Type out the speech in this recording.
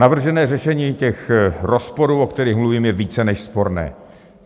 Navržené řešení těch rozporů, o kterých mluvím, je více než sporné.